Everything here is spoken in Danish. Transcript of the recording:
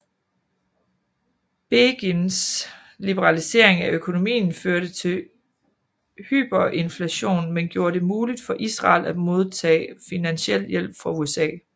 Begins liberalisering af økonomien førte til hyperinflation men gjorde det mulig for Israel at modtag finansiel hjælp fra USA